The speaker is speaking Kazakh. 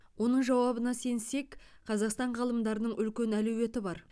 оның жауабына сенсек қазақстан ғалымдарының үлкен әлеуеті бар